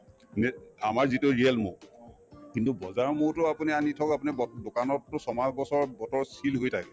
আমাৰ যিটো real মৌ কিন্তু বজাৰৰ মৌতো আপুনি আনি থওক আপুনি দোকানততো ছমাহ এবছৰ bottle ত seal হৈয়ে